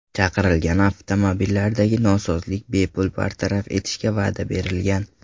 Chaqirilgan avtomobillardagi nosozlik bepul bartaraf etishiga va’da berilgan.